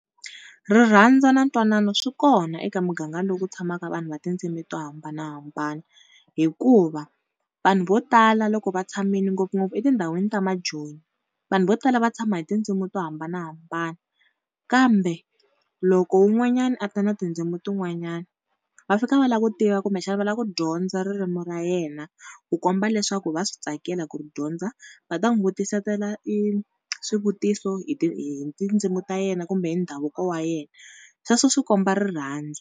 Rirhandzu na ntwanano swi kona eka muganga lowu ku tshamaka vanhu va tindzimi to hambanahambana hikuva vanhu vo tala loko va tshamile ngopfungopfu etindhawini ta majoni, vanhu vo tala va tshama hi tindzimi to hambanahambana. Kambe loko wun'wanyana a ta na tindzimi tin'wanyana va fika va lava ku tiva kumbexana va lava ku dyondza ririmi ra yena. Ku komba leswaku va swi tsakela ku dyondza va ta n'wi vutisetela swivutiso hi hi tindzimi ta yena kumbe hi ndhavuko wa yena sweswo swi komba rirhandzu.